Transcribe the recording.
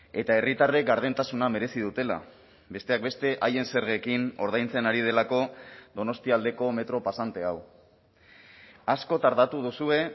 eta herritarrek gardentasuna merezi dutela besteak beste haien zergekin ordaintzen ari delako donostialdeko metro pasante hau asko tardatu duzue